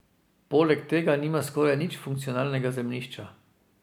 Poleg tega nima skoraj nič funkcionalnega zemljišča.